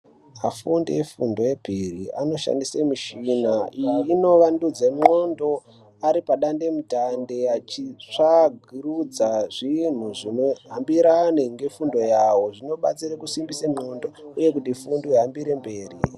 Vafundi vefundo yepiri anoshandise michina iyi inovandudze ndxondo ari padande mutande achitsvagurudza zvinhu zvinohambirane ngefundo yavo zvinobatsire kusimbise ndxondo uye kuti fundo ihambire mberi.